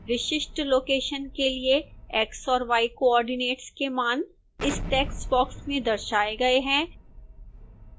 विशिष्ट लोकेशन के लिए x और y coordinates के मान इस टेक्स्ट बॉक्स में दर्शाए गए हैं